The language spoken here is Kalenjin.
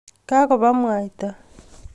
Kagobaa mwaita